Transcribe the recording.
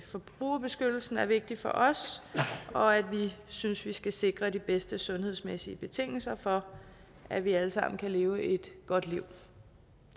forbrugerbeskyttelsen er vigtig for os og at vi synes vi skal sikre de bedste sundhedsmæssige betingelser for at vi alle sammen kan leve et godt liv